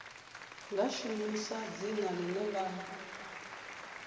nga shumisa dzina ḽine ḽa